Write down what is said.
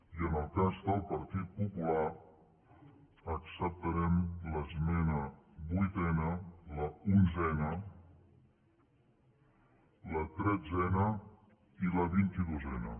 i en el cas del partit popular acceptarem l’esmena vuitena l’onzena la tretzena i la vint i dosena